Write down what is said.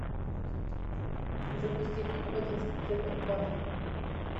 запусти фильм бандитский петербург барон